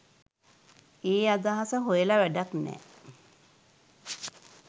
ඒ අදහස හොයල වැඩක් නෑ.